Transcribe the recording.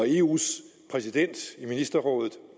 eus præsident i ministerrådet